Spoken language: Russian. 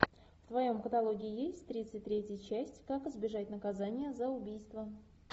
в твоем каталоге есть тридцать третья часть как избежать наказания за убийство